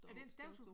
Er det en støvsuger